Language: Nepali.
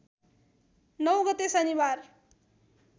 ९ गते शनिबार